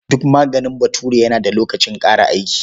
Duk maganin Bature yana da lokacin ƙare aiki.